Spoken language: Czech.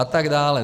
A tak dále.